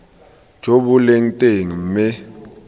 jo bo leng teng mme